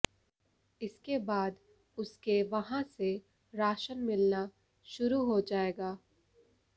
इसके बाद उसके वहां से राशन मिलना शुरू हो जाएगा